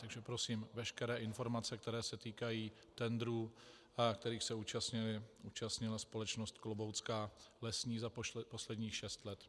Takže prosím veškeré informace, které se týkají tendrů, kterých se účastnila společnost Kloboucká lesní za posledních šest let.